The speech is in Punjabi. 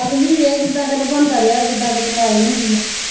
ਸਾਗ ਵੀ ਵੇਖ ਕਿਦਾਂ ਕਿਤੇ ਬਣਦਾ ਰਹਿਆ ਜਿੰਦਾ ਕਿਤੇ ਮਲਾਈ ਹੁੰਦੀ ਆ।